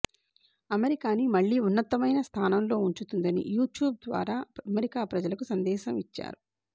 అమెరికాని మళ్ళీ ఉన్నతమైన స్థానంలో ఉంచుతుందని యూట్యూబ్ ద్వారా అమెరికా ప్రజలకి సందేసం ఇచ్చారు